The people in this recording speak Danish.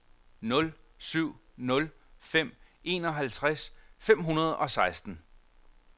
nul syv nul fem enoghalvtreds fem hundrede og seksten